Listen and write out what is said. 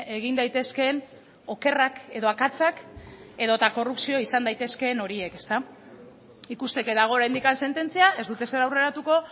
egin daitezkeen okerrak edo akatsak edota korrupzio izan daitezkeen horiek ikusteke dago oraindik sententzia ez dut ezer aurreratuko